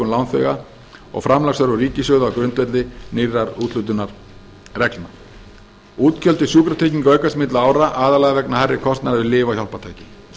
lánþega og framlagsþörf úr ríkissjóði á grundvelli nýrra úthlutunarreglna útgjöld til sjúkratrygginga aukast milli ára aðallega vegna hærri kostnaðar við lyf og hjálpartæki